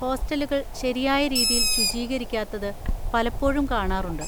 ഹോസ്റ്റലുകൾ ശരിയായ രീതിയിൽ ശുചീകരിക്കാത്തത് പലപ്പോഴും കാണാറുണ്ട്.